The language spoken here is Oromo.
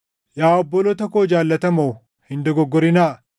Yaa obboloota koo jaallatamoo, hin dogoggorinaa.